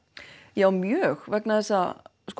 já mjög vegna þess að